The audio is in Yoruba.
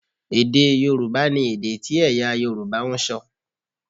Èdè Yorùbá ni èdè tí ẹ̀yà Yorùbá ń sọ